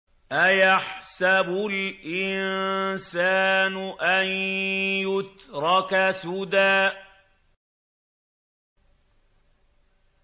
أَيَحْسَبُ الْإِنسَانُ أَن يُتْرَكَ سُدًى